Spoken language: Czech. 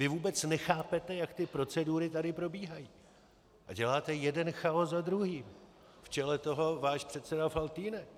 Vy vůbec nechápete, jak ty procedury tady probíhají, a děláte jeden chaos za druhým, v čele toho váš předseda Faltýnek.